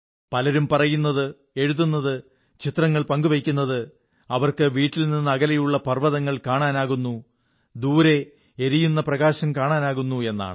പലരും പറയുന്നത് എഴുതുന്നത് ചിത്രങ്ങൾ പങ്കു വയ്ക്കുന്നത് അവർക്ക് വീട്ടിൽ നിന്ന് അകലെയുള്ള പർവ്വതങ്ങൾ കാണാനാകുന്നു ദൂരെ എരിയുന്ന പ്രകാശം കാണാനാകുന്നു എന്നാണ്